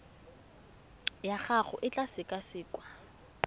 ya gago e tla sekasekwa